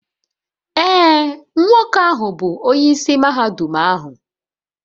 Ee, nwoke ahụ bụ onyeisi mahadum ahu